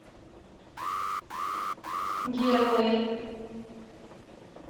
герои